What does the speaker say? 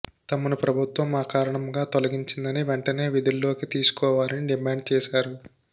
తమను ప్రభుత్వం అకారణంగా తొలగించిందని వెంటనే విధుల్లోకి తీసుకోవాలని డిమాండ్ చేశారు